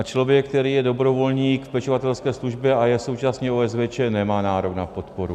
A člověk, který je dobrovolník v pečovatelské službě a je současně OSVČ, nemá nárok na podporu.